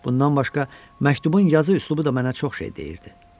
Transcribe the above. Bundan başqa məktubun yazı üslubu da mənə çox şey deyirdi.